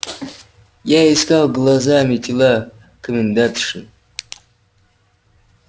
я искал глазами тела комендантши